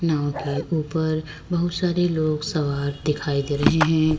नाव के ऊपर बहुत सारे लोग सवार दिखाई दे रहे हैं।